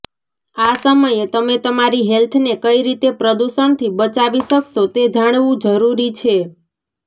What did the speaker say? આ સમયે તમે તમારી હેલ્થને કઈ રીતે પ્રદૂષણથી બચાવી શકશો તે જાણવું જરૂરી છે